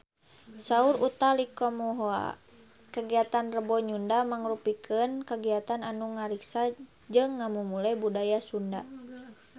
Saur Utha Likumahua kagiatan Rebo Nyunda mangrupikeun kagiatan anu ngariksa jeung ngamumule budaya Sunda